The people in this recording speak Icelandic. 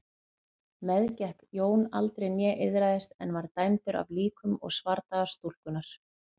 Meðgekk Jón aldrei né iðraðist en var dæmdur af líkum og svardaga stúlkunnar.